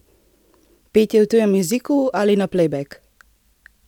Petje v tujem jeziku ali na plejbek!